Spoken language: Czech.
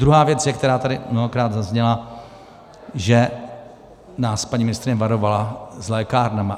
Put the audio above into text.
Druhá věc je, která tady mnohokrát zazněla, že nás paní ministryně varovala s lékárnami.